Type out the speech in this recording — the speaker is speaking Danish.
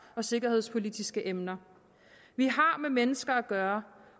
og sikkerhedspolitiske emner vi har med mennesker at gøre